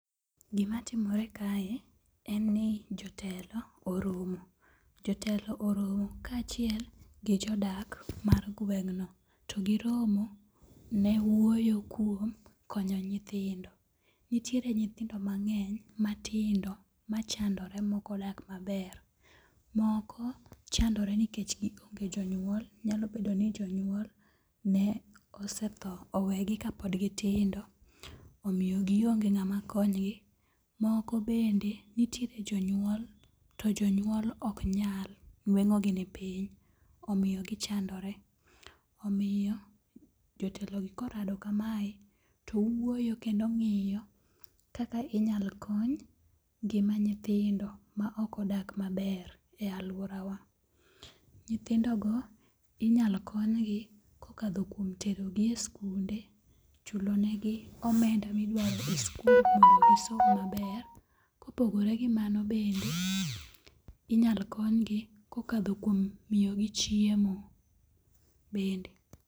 Gima timore kae, en ni jotelo oromo. Jotelo oromo kaachiel gi jodak mar gweng'no. To giromo ne wuoyo kuom konyo nyithindo. Nitiere nyithindo mang'eny matindo machandore mokodak maber. Moko chandore nikech gi onge jonyuol, nyalo bedo ni jonyuol ne osetho owegi kapod gitingo. Omiyo gionge ng'ama konygi. Moko bende nitiere jonyuol to jonyuol ok nyal, nweng'ogi ni piny omiyo gichandore. Omiyo jotelogi korado kamae to wuoyo kendo ng'iyo kaka inyal kony ngima nyithindo ma ok odak maber e alworawa. Nyithindogo inyalo konygi kokadho kuom terogi e skunde, chulonegi omenda midwaro e skul mondo gisom maber. Kopogore gi mano bende, inyalo konygi kokadho kuom miyogi chiemo, bende.